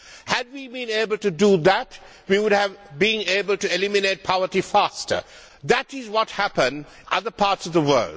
Had we been able to do that, we would have been able to eliminate poverty faster. This is what has happened in other parts of the world.